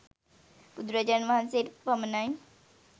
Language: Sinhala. බුදුරජාණන් වහන්සේට පමණයි.